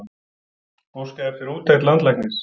Óskað eftir úttekt landlæknis